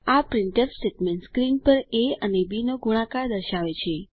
આ printf statement screen પર A અને બી નો ગુણાકાર દર્શાવે છે